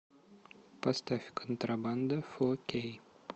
поставь контрабанда фор кей